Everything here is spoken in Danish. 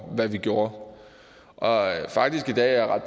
hvad vi gjorde og i dag er